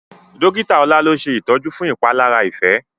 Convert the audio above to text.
Dọ́kítà ola ló ṣe itọjú fún ìpalára Ife.